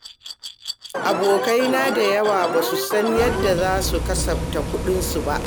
Abokai na da yawa basu san yadda zasu kasafta kuɗinsu ba.